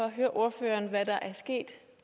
at høre ordføreren hvad der er sket